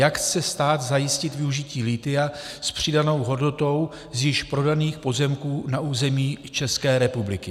Jak chce stát zajistit využití lithia s přidanou hodnotou z již prodaných pozemků na území České republiky?